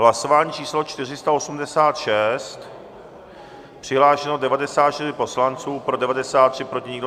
Hlasování číslo 486, přihlášeno 94 poslanců, pro 93, proti nikdo.